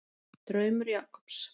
Draumur Jakobs.